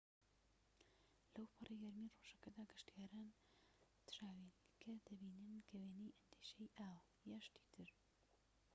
لەوپەڕی گەرمیی ڕۆژەکەدا، گەشتیاران تراویلکە دەبینن کە وێنەی ئەندێشەیی ئاوە یان شتی تر